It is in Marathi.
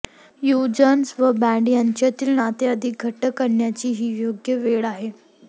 युजर्स व ब्रँड यांच्यातील नाते अधिक घट्ट करण्याची ही योग्य वेळ आहे